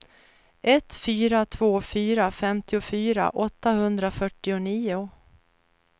ett fyra två fyra femtiofyra åttahundrafyrtionio